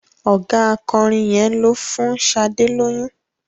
Ọ̀gá akọrin yẹn ló fún Sadé lóyún.